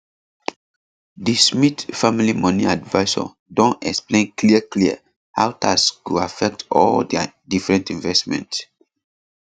di smith family money advisor don explain clearclear how tax go affect all dia different investment